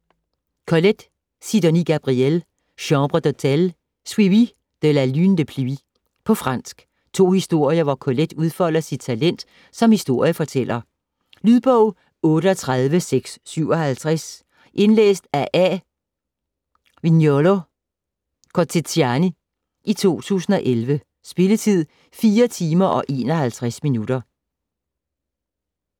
Colette, Sidonie Gabrielle: Chambre d'hôtel; Suivi de La lune de pluie På fransk. To historier hvor Colette udfolder sit talent som historiefortæller. Lydbog 38657 Indlæst af A. Viñolo Kotzinian, 2011. Spilletid: 4 timer, 51 minutter.